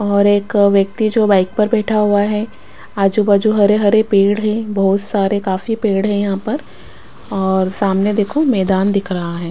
और एक व्यक्ति जो बाइक पर बैठा हुआ है आजू बाजू हरे हरे पेड़ है बहुत सारे काफी पेड़ है यहाँ पर और सामने देखो मैदान दिख रहा है।